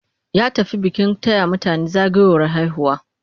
Ya tafi bikin taya mutane zagayowar haihuwa.